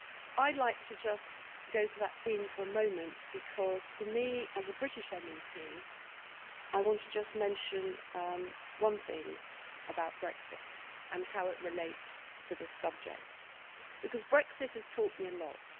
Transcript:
Well, I'd like to just go to that theme for a moment because for me, as a British MEP, I want to just mention one thing about Brexit and how it relates to this subject because Brexit has taught me a lot.